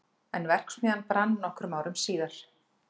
en verksmiðjan brann nokkrum árum síðar